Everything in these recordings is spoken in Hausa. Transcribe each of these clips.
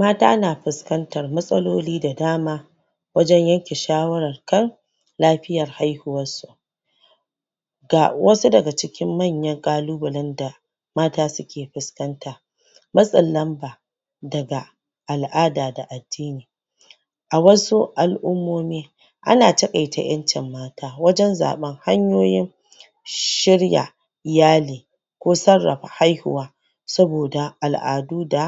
mata na fiskantar matsaloli da dama wajan yanke shawawar kan lafiyar haihuwar su ga wasu daga cikin manyan kalobalan da mata suke fiskanta matsin lamba daga al'ada da addini a wasu al'ummomi ana takaita yyancin mata wajan zaban hanyoyin shirya iyali sarrafa haihuwa saboda ala'du da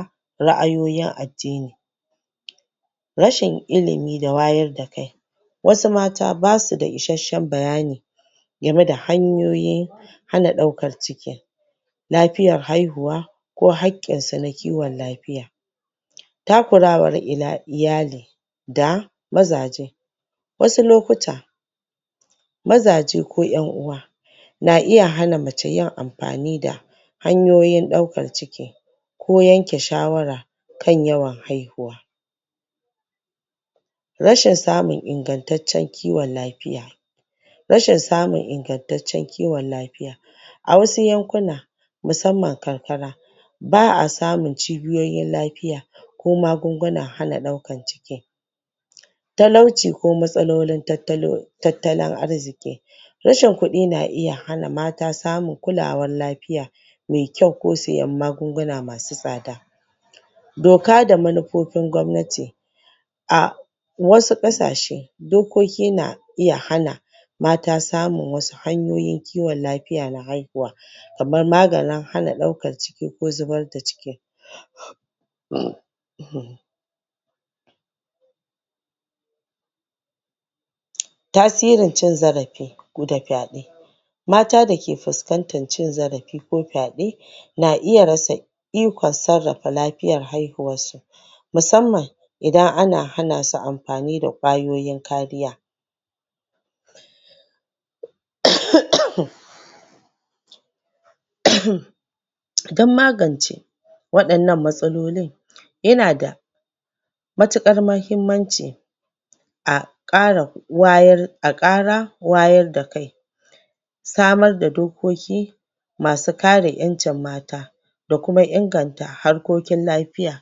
raayoyin addini rashin ilimi da wayar da kai wasu mata ba su da isashshen bayani gamai da hanyoyin hana daukar ciki lafiyar haihuwa ko hakkinsu na kiwan lafiya takurawan iyali da mazaje wasu lokuta mazaje ko 'yan'uwa na iya hana macce yin ammfani da hanyoyin daukar ciki ko yanke shawara kan yawan haihuwa rashin samun ingantaccen kiwan lafiya rashin samun ingantaccen kiwan lafiya a wasu yankuna musamman karkara ba ba samun cibiyoyin kiwan lafiya ko magungunan hana daukar ciki talauci ko matsalolin tattalin arziki rashin kudi na hana mata samun kulawar lafiya mai kyau ko sayan magunguna ma su tsada doka da manufofin gwamnati a wasu kasashe dokoki na iya hana mata samun samun wasu hanyoyin kiwan lafiya na haihuwa kamar maganin hana daukar ciki ko zubar da ciki tasirin cin zarafi da fyade mata da ke fiskantar cin zarafi ko fyade na iya rasa ikon sarrafa lafiyan haihuwar su musamman idan ana hana su amfani da kwayoyin hanyoyin kariya ah'ah ahh dan magance wadannan matsalolin yana da sanar da dokoki a kara warda a kara wayar da kai samar da dokoki masu kare 'yancin mata da kuma inganta harkokin lafiya